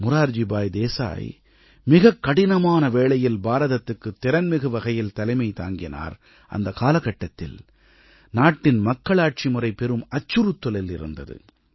மொரார்ஜிபாய் தேசாய் மிகக் கடினமான வேளையில் பாரதத்துக்கு திறன்மிகு வகையில் தலைமை தாங்கினார் அந்தக் காலகட்டத்தில் நாட்டின் மக்களாட்சி முறை பெரும் அச்சுறுத்தலில் இருந்தது